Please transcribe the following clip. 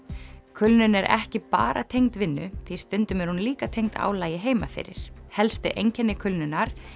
kulnun er ekki bara tengd vinnu því stundum er hún líka tengd álagi heima fyrir helstu einkenni kulnunar